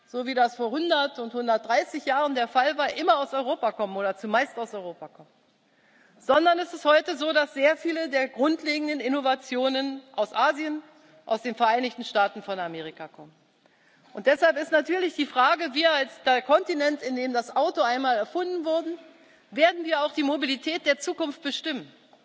so wie das vor 100 und vor 130 Jahren der Fall war immer oder zumeist aus Europa kommen, sondern es ist heute so, dass sehr viele der grundlegenden Innovationen aus Asien, aus den Vereinigten Staaten von Amerika kommen. Deshalb ist natürlich die Frage Werden wir als der Kontinent, in dem das Auto einmal erfunden wurde, auch die Mobilität der Zukunft bestimmen?